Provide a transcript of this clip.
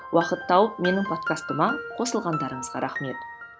уақыт тауып менің подкастыма қосылғандарыңызға рахмет